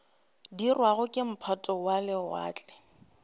dirwago ke maphoto a lewatle